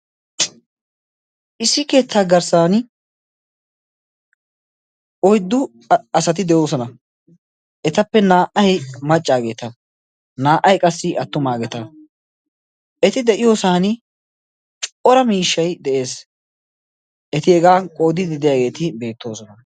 issi keettaa garssan oiddu asati de7oosona etappe naa77ai maccaageeta naa77ai qassi attumaageta eti de7iyoosan cora miishshai de7ees eti hegaa qoodidideyaageeti beettoosona